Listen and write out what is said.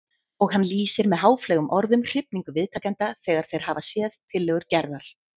Og hann lýsir með háfleygum orðum hrifningu viðtakenda þegar þeir hafa séð tillögur Gerðar.